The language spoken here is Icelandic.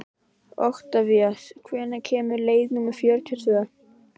Oktavías, hvenær kemur leið númer fjörutíu og tvö?